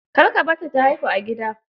Kar ka barta ta haihu a gida.